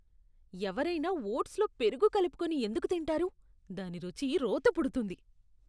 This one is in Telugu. ఎవరైనా ఓట్స్లో పెరుగు కలుపుకొని ఎందుకు తింటారు? దాని రుచి రోత పుడుతుంది.